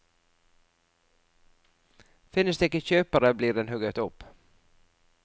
Finnes det ikke kjøpere, blir den hugget opp.